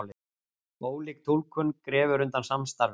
Ólík túlkun grefur undan samstarfi